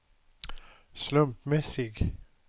slumpmässig